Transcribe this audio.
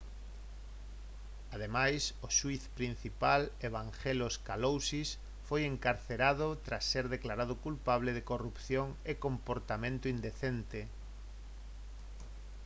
ademais o xuíz principal evangelos kalousis foi encarcerado tras ser declarado culpable de corrupción e comportamento indecente